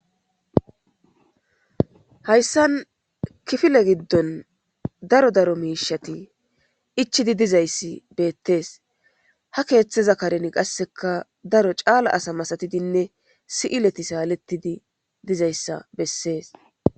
hayssan kifile giddon daro daro miishati ichidi dizayssi beettees ha keeththeza karen qasseka daro caala asa masatidinne si7ileti saalettidi dizayssa bessees